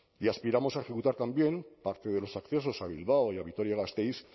y aspiramos a ejecutar también parte de los accesos a bilbao y a vitoria gasteiz